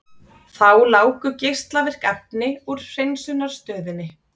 Þá láku geislavirk efni úr hreinsunarstöðinni